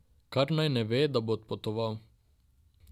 Kar naj ne ve, da bo odpotoval.